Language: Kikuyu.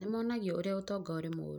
nĩmonagio ũrĩa ũtonga ũrĩ mũru